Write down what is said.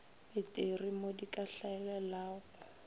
peteri mo di ka hlaelelago